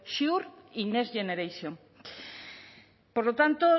sure y next generation por lo tanto